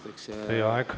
Teie aeg!